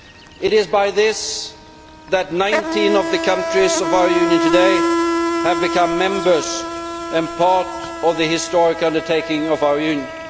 It is by this that 19 of the countries of our Union today have become members and part of the historic undertaking of our Union.